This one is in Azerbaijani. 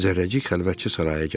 Zərrəcik xəlvətcə saraya gəldi.